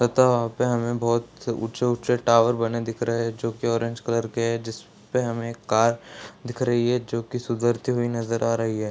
तथा वहाँ पे हमें बहुत से ऊँचे-ऊँचे टावर बने दिख रहे हैं जो की ऑरेंज कलर के हैं जिसपे हमें कार दिख रही है जो की सुधरती हुई नजर आ रही है।